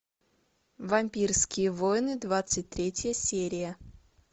вампирские войны двадцать третья серия